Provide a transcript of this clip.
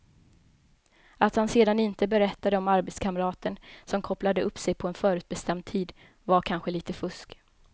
Att han sedan inte berättade om arbetskamraten som kopplade upp sig på en förutbestämd tid var kanske lite fusk.